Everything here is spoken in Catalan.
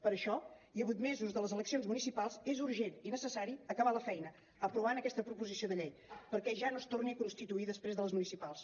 per això i a vuit mesos de les eleccions municipals és urgent i necessari acabar la feina aprovant aquesta proposició de llei perquè ja no es torni a constituir després de les municipals